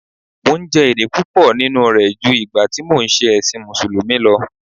Mò ń jẹ èrè púpọ̀ nínú rẹ̀ ju ìgbà tí mò ń ṣe ẹ̀sìn musulumi lọ